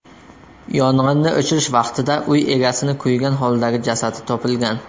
Yong‘inni o‘chirish vaqtida uy egasini kuygan holdagi jasadi topilgan.